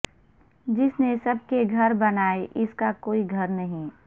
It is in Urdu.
جس نے سب کے گھر بنائے اس کا کوئی گھر نہیں